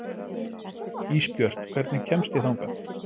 Ísbjört, hvernig kemst ég þangað?